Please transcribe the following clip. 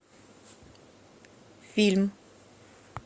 фильм